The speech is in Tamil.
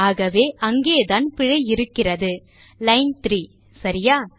ஆகவே அங்கேதான் பிழை இருக்கிறது லைன் 3 சரியா